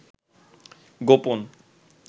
গোপন